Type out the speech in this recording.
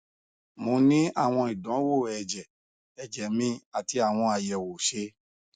mo ni awọn idanwo ẹjẹ ẹjẹ mi ati awọn ayẹwo ṣe